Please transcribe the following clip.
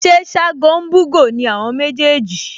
Ṣé Ṣágo ń bú'gò ni àwọn méjèèjì?